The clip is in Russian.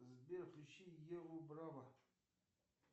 сбер включи еву браво